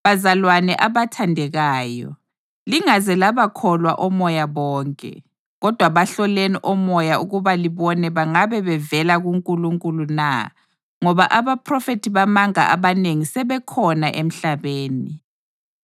Bazalwane abathandekayo, lingaze labakholwa omoya bonke, kodwa bahloleni omoya ukuba libone bangabe bevela kuNkulunkulu na ngoba abaphrofethi bamanga abanengi sebekhona emhlabeni.